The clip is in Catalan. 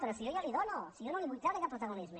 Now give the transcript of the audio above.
però si jo la hi dono si jo no li vull treure aquest protagonisme